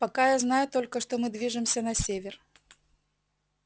пока я знаю только что мы движемся на север